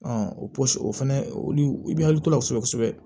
o o fɛnɛ olu bɛ hakili to la kosɛbɛ kosɛbɛ